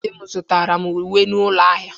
Di m zụtara m uwe n'ụlọ ahịa.